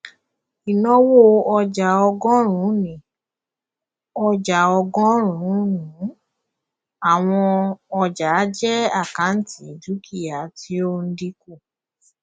ìnáwó ọjàọgọrùnún ọjà ọgọrùnún àwọn ọjàjẹ àkáǹtì dúkìá tí ó ń dínkù